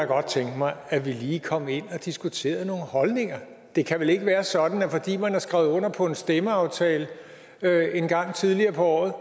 godt tænke mig at vi lige kom ind og diskuterede nogle holdninger det kan vel ikke være sådan at fordi man har skrevet under på en stemmeaftale engang tidligere på året